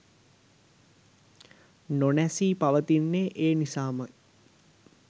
නො නැසී පවතින්නේ ඒ නිසාම යි.